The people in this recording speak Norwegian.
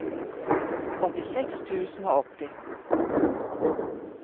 åttiseks tusen og åtti